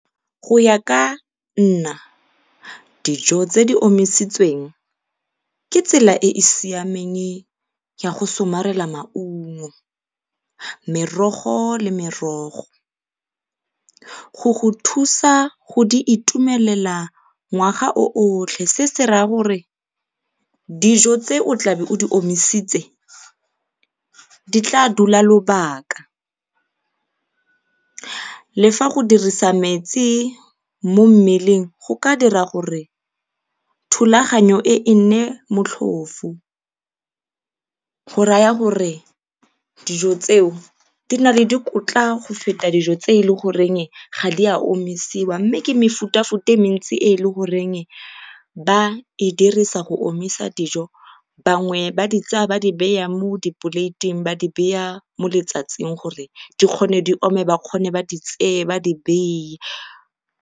Go ya ka nna, dijo tse di omisitsweng ke tsela e e siameng ya go somarela maungo, merogo le merogo. Go go thusa go di itumelela ngwaga o otlhe, se se raya gore dijo tse o tla be o di omisitse di tlaa dula lebaka. Le fa go dirisa metsi mo mmeleng go ka dira gore thulaganyo e e nne motlhofo. Go raya gore dijo tseo di na le dikotla go feta dijo tse e le goreng ga di a omisiwa mme ke mefutafuta e mentsi e le goreng ba e dirisa go omisa dijo. Bangwe ba di tsaya ba di beya mo dipoleiteng ba di beya mo letsatsing gore di kgone di ome ba di tseye ba di beye.